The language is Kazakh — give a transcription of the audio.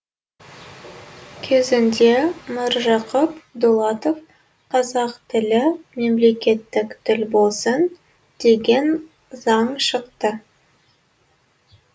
кезінде міржақып дулатов қазақ тілі мемлекеттік тіл болсын деген заң шықты